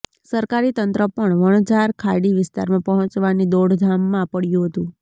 સરકારી તંત્ર પણ વણઝાર ખાડી વિસ્તારમાં પહોંચવાની દોડધામમાં પડ્યું હતું